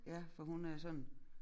Ja for hun er sådan